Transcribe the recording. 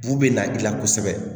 Bu bɛ na i la kosɛbɛ